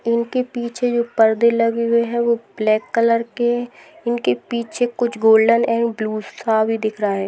इनके पीछे जो परदे लगे हुए हैं वो ब्लैक कलर के इनके पीछे कुछ गोल्डन एण्ड बालू सा भी दिख रहा है।